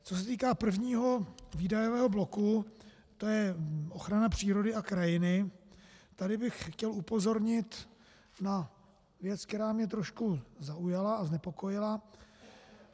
Co se týká prvního výdajového bloku, to je ochrana přírody a krajiny, tady bych chtěl upozornit na věc, která mě trošku zaujala a znepokojila.